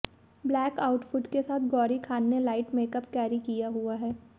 black outfit के साथ गौरी खान ने लाइट मेकअप कैरी किया हुआ हैं